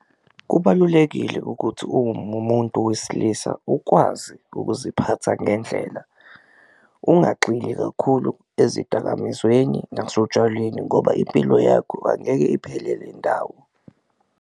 Kubalulekile ukuthi umuntu wesilisa ukwazi ukuziphatha ngendlela, ungagxili kakhulu ezidakamizweni nasotshwaleni ngoba impilo yakho angeke iphelele ndawo.